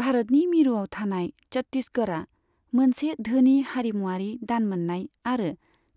भारतनि मिरुयाव थानाय छत्तीसगरआ मोनसे धोनि हारिमुवारि दान मोननाय आरो